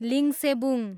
Lingsebung